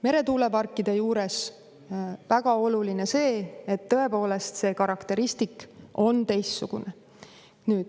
Meretuuleparkide puhul on väga oluline see, et tõepoolest see karakteristik on teistsugune.